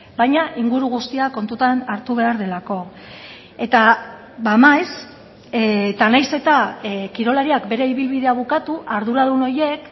baina inguru guztia kontutan hartu behar delako eta maiz eta nahiz eta kirolariak bere ibilbidea bukatu arduradun horiek